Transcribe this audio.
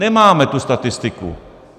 Nemáme tu statistiku.